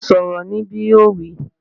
Sọ̀rọ̀ níbí! Yóò wí